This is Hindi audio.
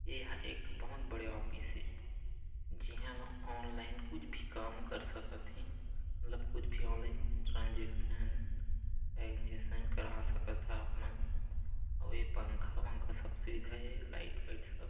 ए हा एक ठो बहुत बड़े ऑफिस है जिहा ल ऑनलाइन कुछ भी काम कर सकत हे मतलब कुछ भी ऑनलाइन ट्रांसेक्शन आंजेसन करा सकत हा आपमन अउ ये पंखा वंखा सब सुविधा हे लाइट वाइट सब--